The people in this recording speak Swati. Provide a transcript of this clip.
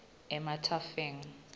emathafeng